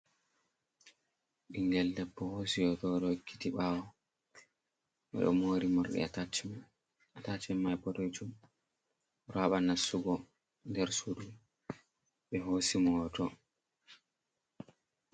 Ɓingel debbo hosi hoto o ɗo wokkiti ɓawo, o ɗo mori morɗi attach, attach mai boɗejum, o ɗo haɓa nasugo nder suudu ɓe hosi mo hoto.